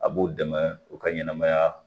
A b'u dɛmɛ u ka ɲɛnɛmaya